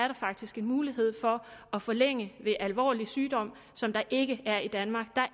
der faktisk en mulighed for at forlænge ved alvorlig sygdom som der ikke er i danmark